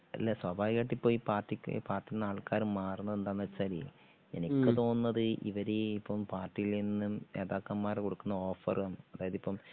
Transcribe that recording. അല്ല സ്വാഭാവികമായിട്ടും ഇപ്പോ ഈ പാർട്ടിക്ക് പാർട്ടിയിൽനിന്ന് ആൾക്കാര് മാറണത് എന്താന്ന് വെച്ചാലേ എനിക്ക് തോന്നുന്നത് ഇവര് ഇപ്പം പാർട്ടിയിൽ നിന്നും നേതാക്കന്മാര് കൊടുക്കുന്ന ഓഫറും അതായത് ഇപ്പം